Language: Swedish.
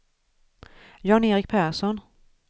Jan-Erik Persson